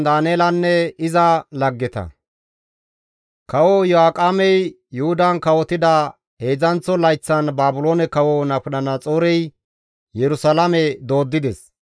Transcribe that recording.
Kawo Iyo7aaqemey Yuhudan kawotida heedzdzanththo layththan Baabiloone kawo Nabukadanaxoorey Yerusalaame dooddides.